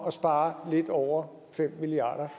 at spare lidt over fem milliard